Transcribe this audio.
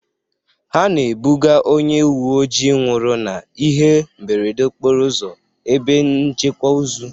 Ha na-ebuga onye uwe ojii nwụrụ n'ihe mberede okporo ụzọ ebe nchekwa ozu.